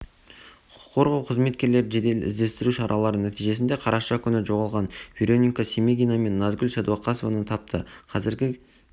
құқық қорғау қызметкерлері жедел-іздестіру шаралары нәтижесінде қараша күні жоғалған вероника семегина мен назгүл сәдуақасованы тапты қазіргі